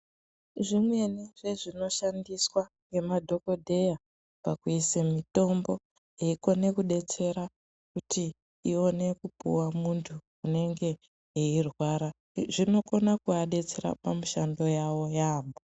Zvimweni zvezvinoshandiswa ngemadhokodheya pakuise mitombo yeikone kudetsera kuti iwone kupuwa munthu unenge eirwara. Zvinokona kuvadetsera pamishando yavo yaampho.